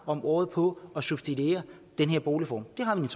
om året på at subsidiere den her boligform det har vi